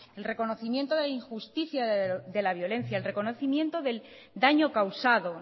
el reconocimiento de la injusticia de la violencia el reconocimiento del daño causado